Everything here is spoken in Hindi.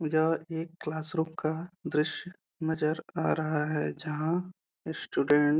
यह एक क्लास रूम का दृश्य नजर आ रहा है। जहाँ स्टूडेंट --